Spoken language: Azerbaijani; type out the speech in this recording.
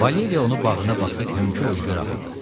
Valeriya onu bağrına basıb hönkür-hönkür ağladı.